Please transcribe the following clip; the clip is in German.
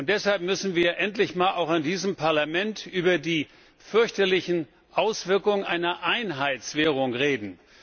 Deshalb müssen wir endlich auch einmal in diesem Parlament über die fürchterlichen Auswirkungen einer Einheitswährung reden.